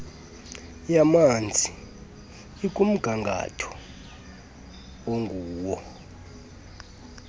yamanzi ikumgangatho onguwo